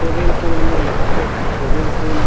swimming pool में नहाते हैं स्विमिंग पूल --